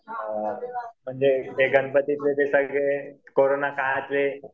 म्हणजे ते गणपतीचे ते सगळे कोरोना काळातले